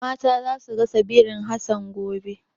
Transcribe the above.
Mata za su gasa birin Hassan gobe.